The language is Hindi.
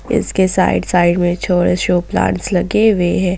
इसके साइड साइड में शो प्लांट्स लगे हुए हैं।